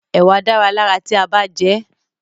Ẹ̀wà dára lára ti a bá jẹẹ́.